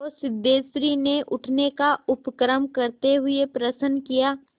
तो सिद्धेश्वरी ने उठने का उपक्रम करते हुए प्रश्न किया